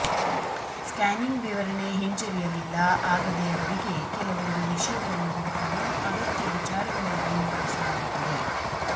scanning ವಿವರಣೆ ಹಿಂಜರಿಯಲಿಲ್ಲ ಆಗದೆ ಅವರಿಗೆ ಕೆಲವೊಂದು ವಿಷಯಗಳನ್ನು ಹುಡುಕಲು ಅಗತ್ಯ ವಿಚಾರಗಳಲ್ಲಿಯೂ ಬಳಸಲಾಗುತ್ತದೆ